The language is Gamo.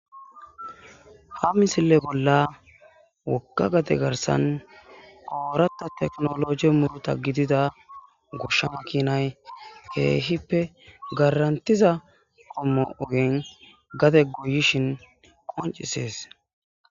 ha misile bolla wokka gate garsan oorata teknologi muruta gidida goshsha makinay keehippe garantiza ommoogen gate guyishin qoncises